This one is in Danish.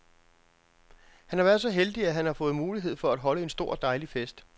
Han har været så heldig, at han har fået mulighed for at holde en stor og dejlig fest.